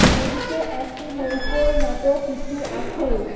নদীটি একটি নৌকোর মত কিছু আছে।